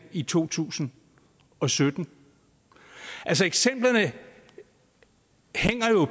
i to tusind og sytten altså eksemplerne hænger jo